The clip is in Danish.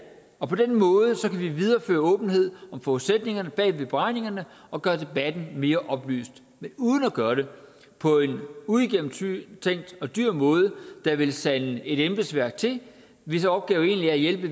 og på den måde kan vi videreføre åbenhed om forudsætningerne bag ved beregningerne og gøre debatten mere oplyst men uden at gøre det på en uigennemtænkt og dyr måde der vil sande et embedsværk til hvis opgave egentlig er at hjælpe